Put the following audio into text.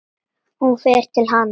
Hún fer til hans.